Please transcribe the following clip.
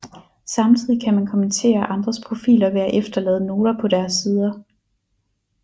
Samtidig kan man kommentere andres profiler ved at efterlade noter på deres sider